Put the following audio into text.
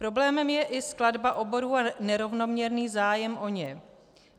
Problémem je i skladba oborů a nerovnoměrný zájem o ně.